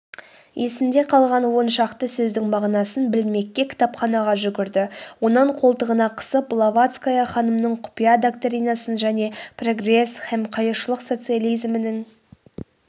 есінде қалған он шақты сөздің мағынасын білмекке кітапханаға жүгірді онан қолтығына қысып блаватская ханымның құпия доктринасын және прогресс һәм қайыршылық социализмнің